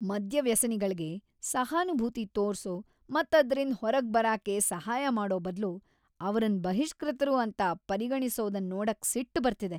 ಮದ್ಯವ್ಯಸನಿಗಳ್ಗೆ ಸಹಾನುಭೂತಿ ತೋರ್ಸೋ ಮತ್ ಅದ್ರಿಂದ ಹೊರಗ್ ಬರಾಕೆ ಸಹಾಯ ಮಾಡೋ ಬದ್ಲು ಅವರನ್ ಬಹಿಷ್ಕೃತರು ಅಂತ ಪರಿಗಣಿಸೊದನ್ ನೋಡಕ್ ಸಿಟ್ಬಟು ಬರ್ತಿದೆ.